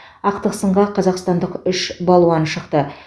ақтық сынға қазақстандық үш балуан шықты